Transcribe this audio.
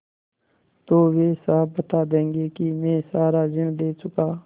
तो वे साफ बता देंगे कि मैं सारा ऋण दे चुका